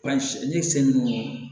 An si ninnu